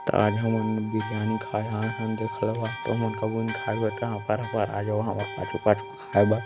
ता आज हमन बिरयानी खाए आये हन देख लेवा तमुन कभू नई खाए होहा ता हफर हफर आ जावा हमर पाछू पाछू खाय बर ।